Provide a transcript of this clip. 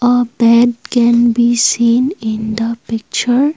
a bed can we seen in the picture.